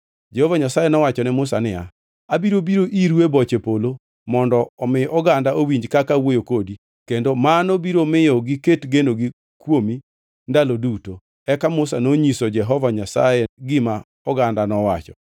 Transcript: Jehova Nyasaye nowacho ne Musa niya, “Abiro biro iru e boche polo mondo omi oganda owinj kaka awuoyo kodi kendo mano biro miyo giket genogi kuomi ndalo duto.” Eka Musa nonyiso Jehova Nyasaye gima oganda nowacho.